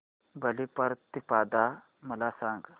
बलिप्रतिपदा मला सांग